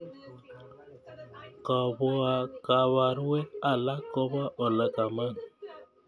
Kabarwek alak kopee ole kaman.